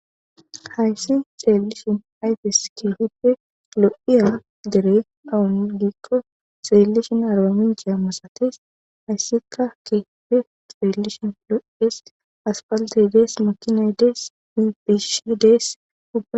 Hayssi xeellishin ayfes keehippe lo77iya dere awungiikko xeellishin arbamincce masates. Hayssika keehippe xeellishin lo7ees. Asfalttey dees. Makinay dees ni biishi dees ubbay.